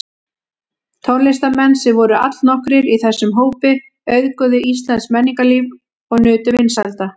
Tónlistarmenn, sem voru allnokkrir í þessum hópi, auðguðu íslenskt menningarlíf og nutu vinsælda.